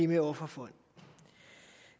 med offerfonden